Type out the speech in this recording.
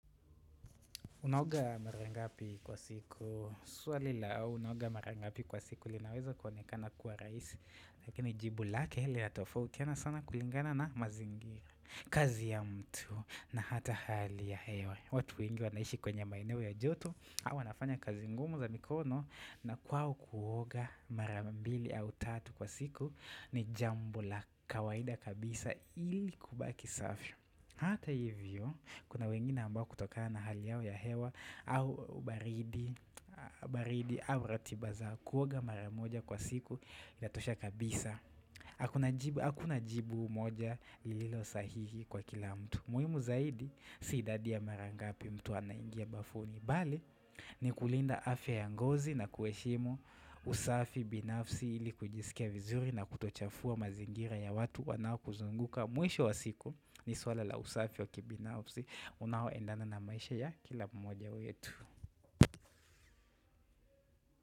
Unaoga mara ngapi kwa siku Swali la, unaoga marangapi kwa siku linaweza kuonekana kuwa rahisi Lakini jibu lake linatofautiana sana kulingana na mazingira kazi ya mtu na hata hali ya hewa watu wengi wanaishi kwenye maeneo ya joto au anafanya kazi ngumu za mikono na kwao kuoga marambili au tatu kwa siku ni jambo la kawaida kabisa ili kubaki safi Hata hivyo Kuna wengine ambao kutokana na hali yao ya hewa au baridi au ratiba za kuoga mara moja kwa siku inatosha kabisa Hakuna jibu moja lilo sahihi kwa kila mtu muhimu zaidi si idadi ya marangapi mtu anaingia bafuni Bali ni kulinda afya ya ngozi na kuheshimu usafi binafsi ili kujisikia vizuri na kutochafua mazingira ya watu wanao kuzunguka Mwisho wa siku ni swala la usafi wa kibinafsi Unaoendana na maisha ya kila mmoja wetu.